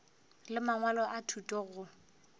le mangwalo a thuto go